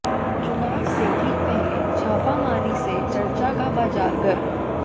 चुनाव से ठीक पहले छापामारी से चर्चा का बाजार गर्म